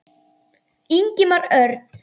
Ingimar Örn.